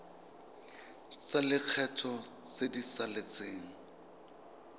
tsa lekgetho tse di saletseng